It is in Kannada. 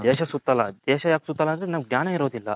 ದೇಶ ಸುತ್ತಲ್ಲ ಯಾಕ್ ಸುತ್ತಲ್ಲ ಅಂದ್ರೆ ನಮಿಗೆ ಜ್ಞಾನ ಇರೋದಿಲ್ಲ.